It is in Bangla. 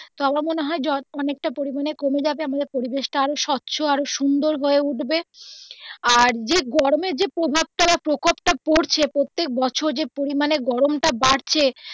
তো আমার মনে হয় অনেক টা পরিমানে কমে যাবে আমাদের পরিবেশ টা আরো স্বচ্ছ আরো সুন্দর হয়ে উঠবে আর যে গরমের যে প্রভাব টা বা প্রখর টা পড়ছে প্রত্যেক বছর যে পরিমানে গরম টা বাড়ছে